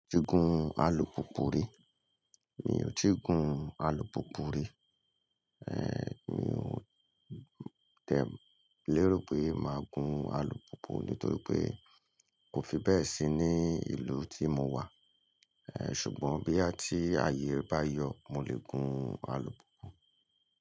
Ó ti gun alùpùpù rí, mi ò tíì gun alùpùpù rí. Ehn, mi ò tie lero pé máa gun alùpùpù nítorí pé kò fi bẹ́ẹ̀ sí ní ìlú tí mo wà. Ehn, ṣùgbọ́n boyà tí ayé re bá yọ, mo lè gun alùpùpù.